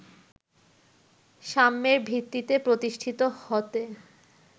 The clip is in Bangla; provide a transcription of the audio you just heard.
সাম্যের ভিত্তিতে প্রতিষ্ঠিত হতে